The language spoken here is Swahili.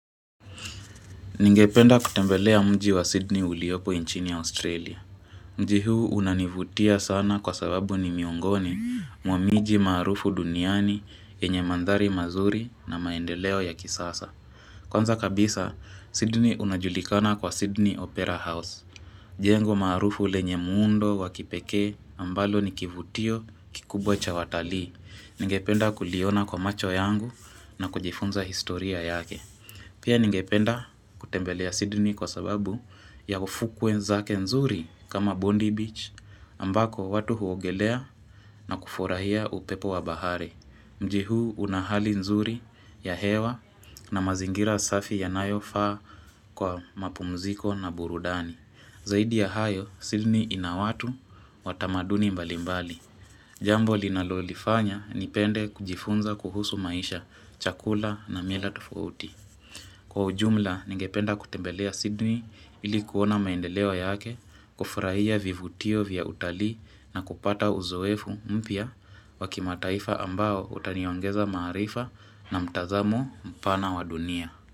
Ningependa kutembelea mji wa Sydney uliopo nchini Australia. Mji huu unanivutia sana kwa sababu ni miongoni mwa miji maarufu duniani yenye mandhari mazuri na maendeleo ya kisasa. Kwanza kabisa, Sydney unajulikana kwa Sydney Opera House. Jengo maarufu lenye muundo wakipekee ambalo ni kivutio kikubwa cha watalii. Ningependa kuliona kwa macho yangu na kujifunza historia yake. Pia ningependa kutembelea Sydney kwa sababu ya ufukwe zake nzuri kama Bondi Beach, ambako watu huogelea na kufurahia upepo wa bahare. Mji huu una hali nzuri ya hewa na mazingira safi yanayofaa kwa mapumziko na burudani. Zaidi ya hayo, Sydney ina watu wa tamaduni mbalimbali. Jambo linalolifanya nipende kujifunza kuhusu maisha, chakula na mila tofauti. Kwa ujumla, ningependa kutembelea Sydney ili kuona maendeleo yake, kufurahia vivutio vya utalii na kupata uzoefu mpya wa kimataifa ambao utaniongeza maarifa na mtazamo mpana wa dunia.